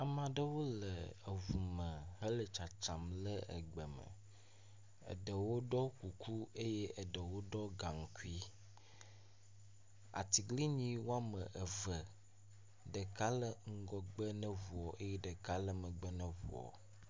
Amea ɖewo le eŋu me hele tsatsam le egbe me, eɖewo ɖɔ kuku eye eɖewo ɖɔ gaŋkui. Atiglinyi woame eve, ɖeka le ŋgɔgbe ne ŋuɔ eye ɖeka le megbe ne ŋuɔ.